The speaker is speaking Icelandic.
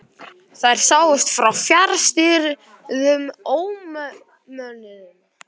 Þær sáust frá fjarstýrðum ómönnuðum kafbáti.